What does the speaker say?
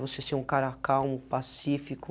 Você ser um cara calmo, pacífico.